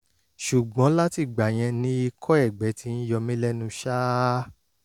ṣùgbọ́n látìgbà yẹn ni ikọ́ ẹ̀gbẹ ti ń yọ mí lẹ́nu ṣáá